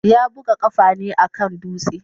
Ya buga kafa ne a kan dutse.